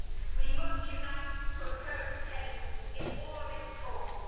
We must unite to oppose hate in all of its forms.